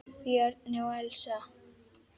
Bjarni og Elsa.